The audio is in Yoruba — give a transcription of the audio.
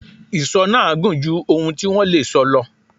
Ìsọ náà gùn ju ohun tí wọ́n tí wọ́n lè sọ lọ.